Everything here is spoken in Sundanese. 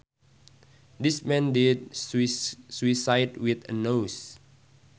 This man did suicide with a noose